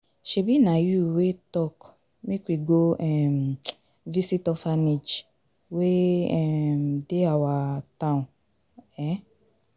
Shebi na you wey talk make we go um visit orphanage wey um dey our town um